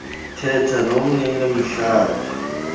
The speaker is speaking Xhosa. thetha nomnini mhlabaa